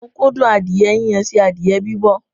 Mo kún dùn adìẹ yíyan sí adìẹ bibọ̀